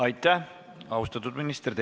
Aitäh, austatud minister!